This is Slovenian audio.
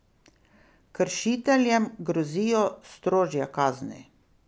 Kršiteljem grozijo strožje kazni.